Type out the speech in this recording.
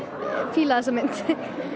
fíla þessa mynd